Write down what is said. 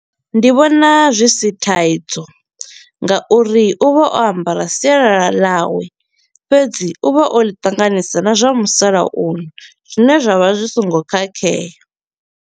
Ndi vhona zwi si thaidzo nga uri u vha o ambara sialala ḽawe fhedzi u vha o ḽi tanganisa na zwa musalauno zwine zwa vha zwi so ngo khakhea.